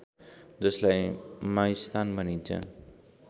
जसलाई माइस्थान भनिन्छ